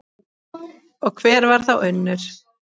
Og hver var þá Unnur?